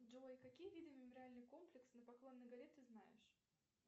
джой какие виды мемориальный комплекс на поклонной горе ты знаешь